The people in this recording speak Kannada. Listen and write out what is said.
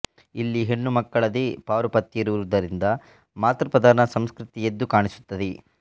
ಇಲ್ಲಿ ಹೆಣ್ಣುಮಕ್ಕಳದೇ ಪಾರುಪತ್ಯ ಇರುವುದರಿಂದ ಮಾತೃಪ್ರಧಾನ ಸಂಸ್ಕೃತಿ ಎದ್ದು ಕಾಣಿಸುತ್ತದೆ